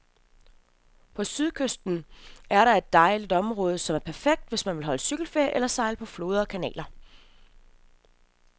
På sydkysten er der et dejligt område, som er perfekt, hvis man vil holde cykelferie eller sejle på floder og kanaler.